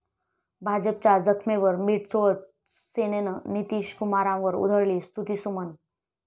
भाजपच्या जखमेवर मिठ चोळत सेनेनं नितीशकुमारांवर उधळली स्तुतीसुमनं